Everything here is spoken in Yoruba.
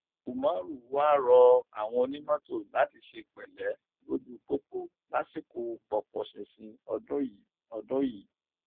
umar wàá rọ àwọn onímọtò láti ṣe pẹlẹ lójú pópó lásìkò pọpọ ṣinṣin ọdún yìí ọdún yìí